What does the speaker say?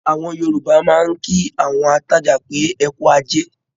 Àwọn Yorùbá máa ń kí àwọn atajà pé, "ẹkú ajé"